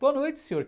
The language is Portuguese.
Boa noite, Sr.